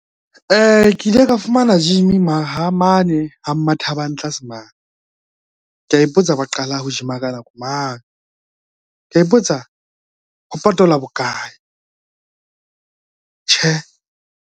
Ke ile ka fumana gym mane ha Mmathabang tlase mane, kea ipotsa ba qala ho gym-a ka nako mang, kea ipotsa ho patala bokae, tjhe.